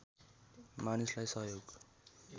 मानिसलाई सहयोग